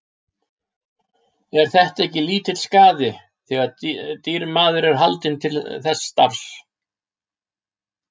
Er þetta ekki lítill skaði, þegar dýr maður er haldinn til þess starfa.